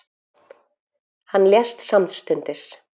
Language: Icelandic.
Hann lést samstundis.